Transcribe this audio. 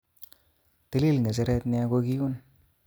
Tilil nge'cheret nia kokiun